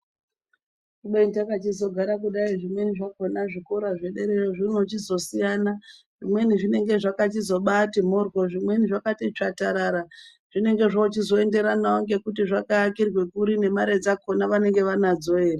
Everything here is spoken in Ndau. ZKubeni takachizogara kudayi zzvikora zvederayo zvinochizosiyana vinenge zvakungozosiya ngekuti zvakaakirwa kri ngemare dzakhona anadzo ere.